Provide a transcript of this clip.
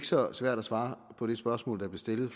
så svært at svare på det spørgsmål der blev stillet